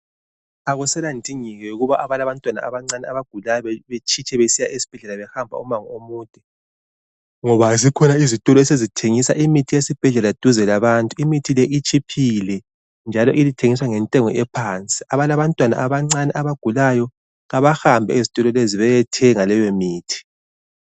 Akuselandingeko ukuba abalabantwana abancane abagulayo bethitshe besiya ezibhedlela behamba umango omude ngoba zikhona izitolo esezithengisa imithi yesibhedlela duze labantu imithi le itshiphile njalo ithengiswa ngentengo ephansi. Abalabantwana abancane abagulayo kabahambe ezitolo lezi bayethenga leyomithi.